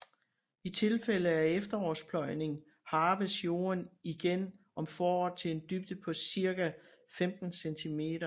I tilfælde af efterårspløjning harves jorden igen om foråret til en dybde på cirka 15 centimeter